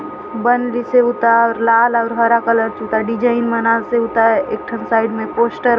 बंदिसे उतार लाल अउर हरा कलर जूता डिजाइन मनासे उताए एक ठो साइड मे पोस्टर --